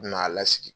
U bina a lasigi